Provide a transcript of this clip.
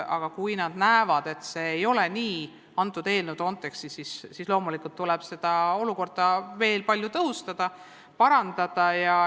Aga kui nad näevad, et antud eelnõu kontekstis see nii ei ole, siis loomulikult tuleb seda olukorda veel palju tõhustada, parandada.